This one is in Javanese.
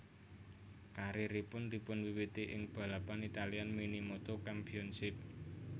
Karieripun dipunwiwiti ing balapan Italian Minimoto Championship